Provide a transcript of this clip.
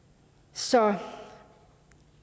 så